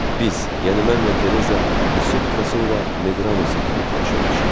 Biz, yəni mənlə Tereza, Missiye Pikaso ilə Medrano sirkində tanış olmuşuq.